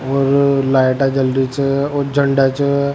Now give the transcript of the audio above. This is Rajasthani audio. और लाइट जल रही छे और झंडा छे।